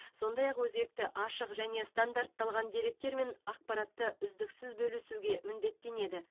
сондай ақ өзекті ашық және стандартталған деректер мен ақпаратты үздіксіз бөлісуге міндеттенеді